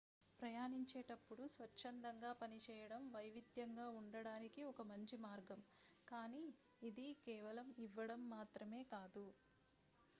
ప్రయాణించేటప్పుడు స్వచ్ఛందంగా పనిచేయడం వైవిధ్యంగా ఉండడానికి ఒక మంచి మార్గం కానీ ఇది కేవలం ఇవ్వడం మాత్రమే కాదు